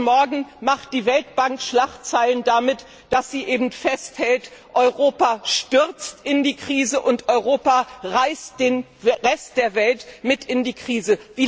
Heute Morgen macht die Weltbank Schlagzeilen damit, dass sie an ihrer Auffassung festhält, Europa stürze in die Krise und Europa reiße den Rest der Welt mit in die Krise.